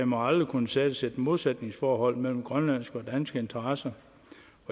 må aldrig kunne skabes et modsætningsforhold mellem grønlandske og danske interesser